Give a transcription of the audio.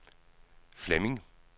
Flemming